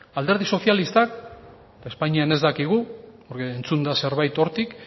alderdi sozialistak espainian ez dakigu entzun da zerbait hortik